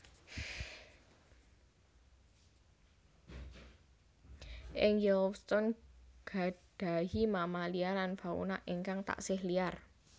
Ing Yellowstone gadhahi mamalia lan fauna ingkang tasih liar